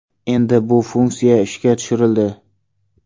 Endi bu funksiya ishga tushirildi.